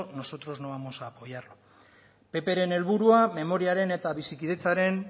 nosotros no vamos a apoyar pp ren helburua memoriaren eta bizikidetzaren